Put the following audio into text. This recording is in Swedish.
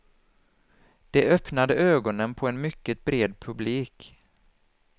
De öppnade ögonen på en mycket bred publik.